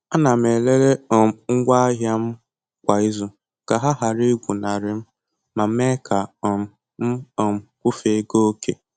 Ana m elele um ngwa ahịa m kwa ịzu ka ha ghara igwụnarị m ma mee ka um m um kwufe ego oke